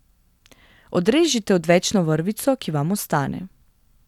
Odrežite odvečno vrvico, ki vam ostane.